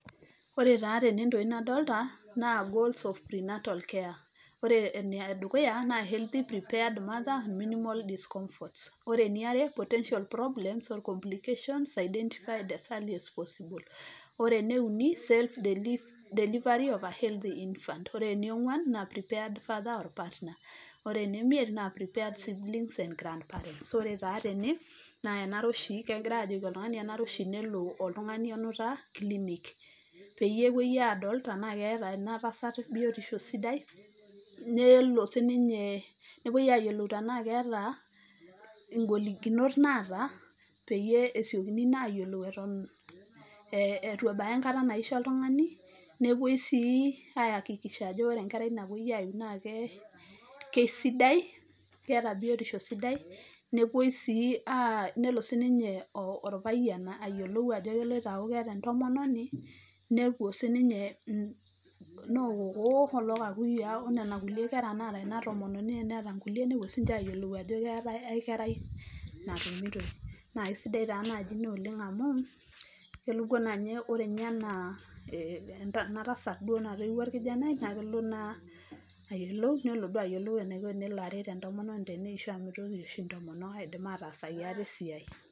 Ore taa tene intokitin nadolta naa goals of pre natal care .Ore ene dukuya naa healthy prepared mother, minimal discomforts. Ore eniare potential problems or complications, identified as early as possible . Ore ene uni safe delivery of a healthy infant . Ore eniongwan naa prepared father or partner .Ore ene miet naa prepare siblings and grand parents. Ore taa tene kegirae ajoki oltungani, enare oshi tenelo oltungani onuta clinic, peyie epuoi adol tenaa keeta ina tasat biotisho sidai, nelo sininye nepuoi ayiolou tenaa keeta ing'olikinot naata , peyie esiokini naa ayiolou eton itu ebaya enkata naisho oltungani .Nepuoi sii ahakikisha ajo ore enkerai napuoi aiu na ke keisidai ,keeta biotisho sidai, nepuoi si nelo sininye orpayiani ayiolou ajo keeta entomononi , nepuo sininye noo kokoo oloo kakuyiaa onena kulie naata ina tomononi teneeta inkulie , nepuo sininche ayiolou ajo keetae ae kerai natumitoi . Naa kisidai taa naji ina amu kepuo naanye ore ninye anaa ena tasat natoiwuo orkijanai naa kelo ayiolou nelo duoo ayiolou eniko tenelo aret entomononi teneisho amu mitoki oshi intomonok aidim ataasaki ate esiai.